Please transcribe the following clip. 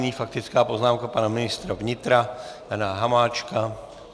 Nyní faktická poznámka pana ministra vnitra Jana Hamáčka.